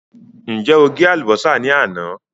Ǹjẹ́ o gé àlùbọ́sà ní àná?